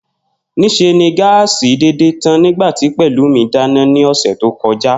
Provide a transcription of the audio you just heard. Nís̩e ni gáàsì dédè tán nígbà tí Pè̩lúmi dáná ní ò̩sè̩ tó ko̩já